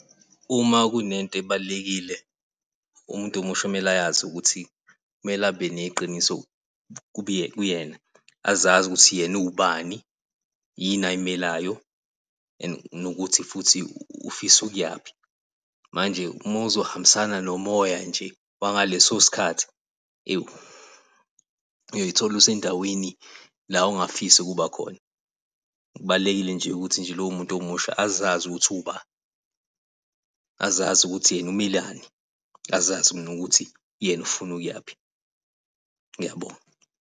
Uma kunento ebalulekile umuntu omusha okumele ukuthi kumele abe neqiniso kuwena, azazi ukuthi uwubani yini ayimelayo and nokuthi futhi ufisa ukuyaphi. Manje uma uzohambisana nomoya nje wangaleso sikhathi ewu uyoyithola usendaweni la ongafisi ukuba khona. Kubaluleke nje ukuthi nje lowo muntu omusha azazi ukuthi uwuba, azazi ukuthi yena umelani, azazi nokuthi yena ufuna ukuyaphi. Ngiyabonga.